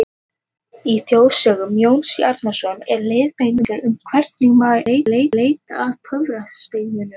Í þjóðsögum Jóns Árnasonar eru leiðbeiningar um hvernig maður eigi að leita að töfrasteinum.